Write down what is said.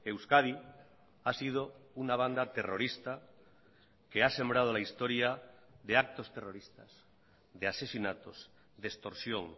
euskadi ha sido una banda terrorista que ha sembrado la historia de actos terroristas de asesinatos de extorsión